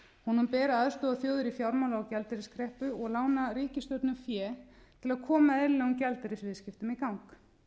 honum ber að aðstoða þjóðir í fjármála og gjaldeyriskreppu og lána ríkisstjórnum fé til að koma eðlilegum gjaldeyrisviðskiptum í gang